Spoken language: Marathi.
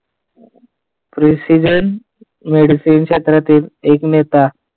Presistion medicine क्षेत्रातील एक नेता.